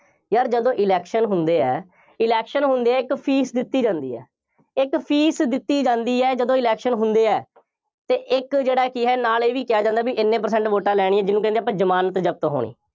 ਯਾਰ ਜਦੋਂ election ਹੁੰਦੇ ਹੈ, election ਹੁੰਦੇ ਹੈ ਇੱਕ fees ਦਿੱਤੀ ਜਾਂਦੀ ਹੈ, ਇੱਕ fees ਦਿੱਤੀ ਜਾਂਦੀ ਹੈ, ਜਦੋਂ election ਹੁੰਦੇ ਹੈ ਅਤੇ ਇੱਕ ਜਿਹੜਾ ਕਿ ਹੈ, ਨਾਲ ਇਹ ਵੀ ਕਿਹਾ ਜਾਂਦਾ ਬਈ ਐਨੈ percentage ਵੋਟਾਂ ਲੈਣੀਆਂ, ਜਿਹਨੂੰ ਕਹਿੰਦੇ ਹਾਂ ਆਪਾਂ ਜ਼ਮਾਨਤ ਜ਼ਬਤ ਹੋਣੀ।